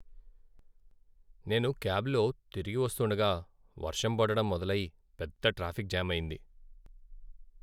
నేను క్యాబ్లో తిరిగి వస్తుండగా వర్షం పడడం మొదలై, పెద్ద ట్రాఫిక్ జామ్ అయింది.